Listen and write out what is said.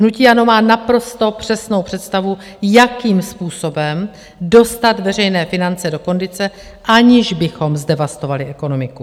Hnutí ANO má naprosto přesnou představu, jakým způsobem dostat veřejné finance do kondice, aniž bychom zdevastovali ekonomiku.